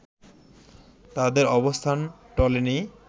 তাদের অবস্থান টলেনি